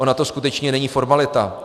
Ona to skutečně není formalita.